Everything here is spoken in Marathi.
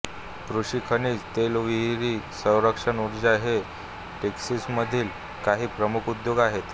कृषी खनिज तेलविहीरी संरक्षण उर्जा हे टेक्सासमधील काही प्रमुख उद्योग आहेत